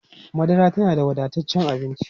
Madara tana da wadataccen abinci.